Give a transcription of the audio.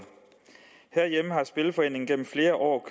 herhjemme har spillerforeningen gennem flere år